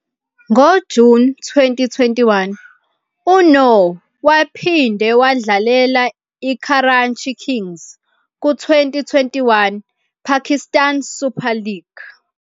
NgoJuni 2021, uNoor waphinde wadlalela iKarachi Kings ku- 2021 Pakistan Super League.